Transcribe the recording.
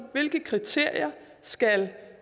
hvilke kriterier skal